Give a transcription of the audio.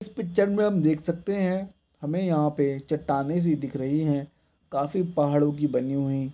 इस पिक्चर मे हम देख सकते है हमे यहाँ पे चट्टाने सी दिख रही है काफी पहाड़ो की बनी हुई।